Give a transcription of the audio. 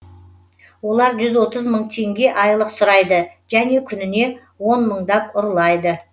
олар жүз отыз мың теңге айлық сұрайды және күніне он мыңдап ұрлайды